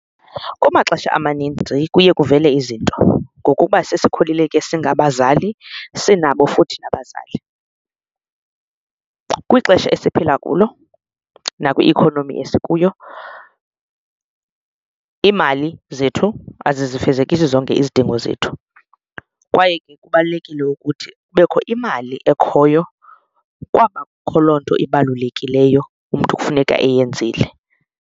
Kumaxesha amaninzi kuye kuvele izinto ngokuba sesikhulile ke singabazali sinabo futhi nabazali. Kwixesha esiphila kulo nakwi-economy esikuyo iimali zethu azizifezekisi zonke izidingo zethu kwaye ke kubalulekile ukuthi kubekho imali ekhoyo kwaba kho loo nto ibalulekileyo umntu kufuneka eyenzile.